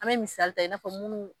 An be misali ta i n'a fɔ munnu